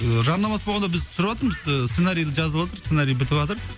ыыы жарнамасы болғанда біз түсіріватыр ыыы сценариін жазыватырмыз сценарий бітіватыр